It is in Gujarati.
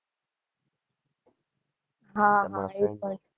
હ હ